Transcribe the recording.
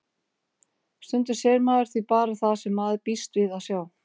Stundum sér maður því bara það sem maður býst við að sjá.